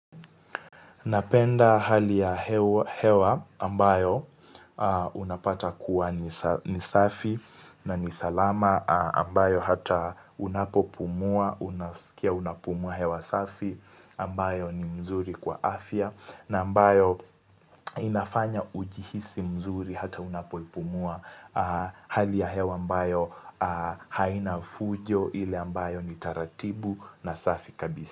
Napenda hali ya hewa ambayo unapata kuwa ni safi na ni salama ambayo hata unapopumua, unaskia unapumua hewa safi ambayo ni mzuri kwa afya na ambayo inafanya ujihisi mzuri hata unapopumua hali ya hewa ambayo haina fujo ile ambayo ni taratibu na safi kabisa.